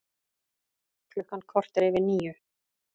Klukkan korter yfir níu